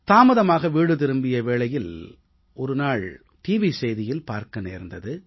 தாமதமாக வீடு திரும்பிய வேளையில் ஒரு முறை டிவி செய்தியில் பார்க்க நேர்ந்தது